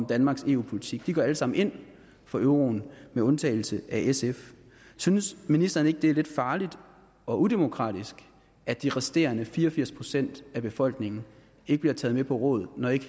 danmarks eu politik alle sammen ind for euroen med undtagelse af sf synes ministeren ikke at det er lidt farligt og udemokratisk at de resterende fire og firs procent af befolkningen ikke bliver taget med på råd når ikke